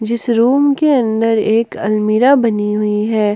जिस रूम के अंदर एक अलमीरा बनी हुई है।